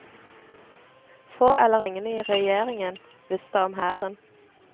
Få eller ingen i regjeringa visste om hæren.